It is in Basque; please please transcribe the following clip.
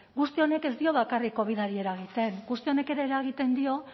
guzti honek ez dio bakarrik covidari eragiten guzti honek ere eragiten dio